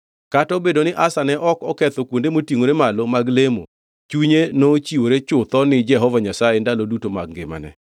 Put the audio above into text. Kata obedo ni Asa ne ok oketho kuonde motingʼore malo mag lemo, chunye nochiwore chutho ni Jehova Nyasaye ndalo duto mag ngimane.